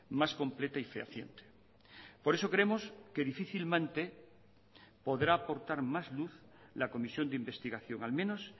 más completa y fehaciente por eso creemos que difícilmente podrá aportar más luz la comisión de investigación al menos